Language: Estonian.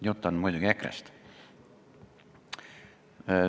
Jutt on muidugi EKRE-st.